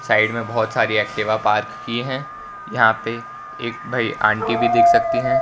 Side में बहोत सारी एक्टिवा पार्क की हैं यहां एक भाई आंटी भी दिख सकती हैं।